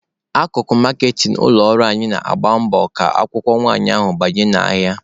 Akụkụ maaketịn ụlọ ọrụ anyị na-agba mbọ ka akwụkwọ nwanyị ahụ banye n'ahịa.